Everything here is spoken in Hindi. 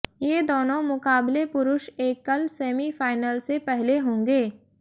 ये दोनों मुकाबले पुरुष एकल सेमीफाइनल से पहले होंगे